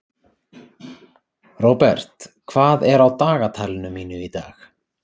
Robert, hvað er á dagatalinu mínu í dag?